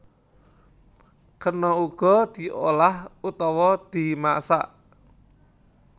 Kena uga diolah utawa dimasak